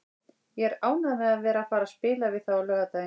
Ég er ánægður með að vera að fara að spila við þá á laugardaginn.